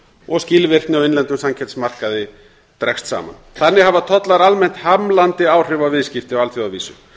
og skilvirkni á innlendum samkeppnismarkaði dregst saman þannig hafa tollar almennt hamlandi áhrif á viðskipti á alþjóðavísu